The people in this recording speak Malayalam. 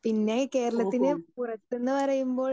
സ്പീക്കർ 2 പിന്നെ കേരളത്തിനുപുറത്ത് എന്ന് പറയുമ്പോൾ